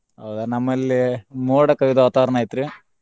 ಹೌದಾ ನಮ್ಮಲ್ಲೇ ಮೋಡ ಕವಿದ ವಾತಾವರಣ ಐತ್ರಿ.